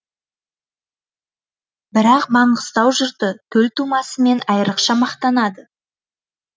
бірақ маңғыстау жұрты төл тумасымен айрықша мақтанады